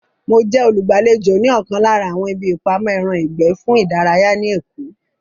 Mo jẹ́ olùgbàlejò ní ọ̀kan lára àwọn ibi ìpamọ́ ẹran ìgbẹ́ fún ìdárayá ní èkó